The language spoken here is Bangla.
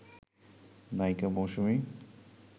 নায়িকা মৌসুমী